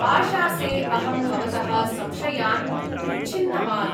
आशासे अहं भवतः संशयान् उच्छिन्नवान्।